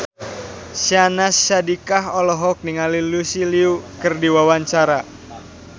Syahnaz Sadiqah olohok ningali Lucy Liu keur diwawancara